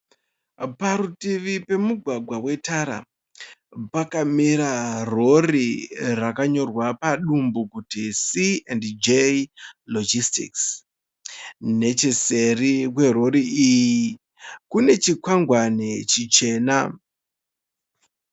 Parutivi pemugwagwa wetara pakamira rori rakanyorwa padumbu kuti (C and J logistics). Necheseri kwerori iyi kune chikwangwani chichena.